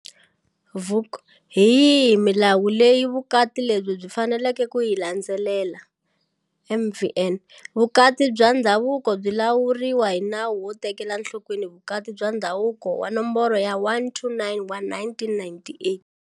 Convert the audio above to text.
Vuk- Hi yihi milawu leyi vukati lebyi byi faneleke ku yi landzelela? MvN- Vukati bya ndhavuko byi lawuriwa hi Nawu wo Tekela Enhlokweni Vukati bya Ndhavuko wa Nomboro ya 129 wa 1998.